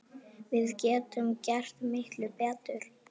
Við getum gert miklu betur!